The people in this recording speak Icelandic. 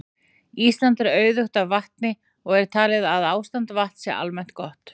Ísland er auðugt af vatni og er talið að ástand vatns sé almennt gott.